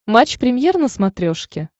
матч премьер на смотрешке